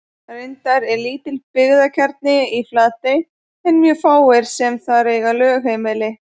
Reyndar er lítill byggðakjarni í Flatey en mjög fáir sem þar eiga lögheimili.